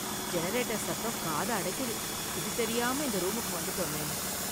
Generator சத்தம் காதை அடைக்குது, இது தெரியாம இந்த ரூமுக்கு வந்துட்டோமே.